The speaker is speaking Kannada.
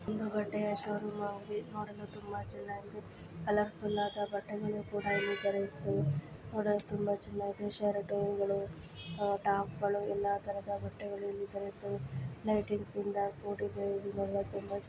ಬಟ್ಟೆಯ ಷೋರೂಮ್ ಆಗಿ ನೋಡಲು ತುಂಬಾ ಚೆನ್ನಾಗಿದೆ ಕಲರಫುಲ್ ಆದ ಬಟ್ಟೆಗಳು ಕೂಡ ಇಲ್ಲಿ ದೊರೆಯುತವೇ ನೋಡಲು ತುಂಬಾ ಚೆನ್ನಾಗಿದೆ ಶರ್ಟ್ಗಳು ಹಾಗೂ ಟಾಪಗಳು ಎಲ್ಲಾ ತರಹದ ಬಟ್ಟೆಗಳು ಇಲ್ಲಿ ದೊರೆಯುತವೇ ಲೈಟಿಂಗ್ಸ್ ಇಂದ ಕೂಡಿದೆ ಇದು ಬಹಳಾ ತುಂಬಾ ಚನ್ನಾಗಿ--